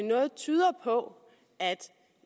noget tyder på